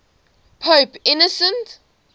pope innocent